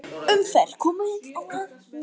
Umferð komin á að nýju